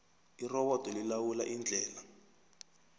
irobodo lilawula indlela